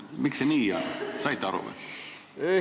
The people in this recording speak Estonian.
Miks see nii on, kas sa said aru?